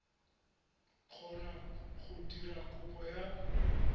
kgona go dira kopo ya